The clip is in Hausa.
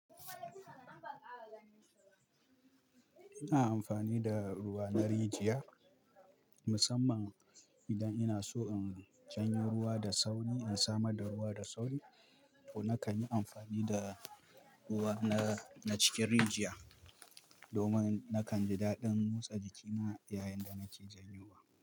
Ina amfani da ruwa na rijiya musamman idan ina so in janyo ruwa da sauri, in samar da ruwa da sauri to nakan yi amfani da ruwa na, na cikin rijiya domin na kanji dadin tsarki yayinda nake jan yo wa.